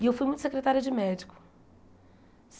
E eu fui muito secretária de médico.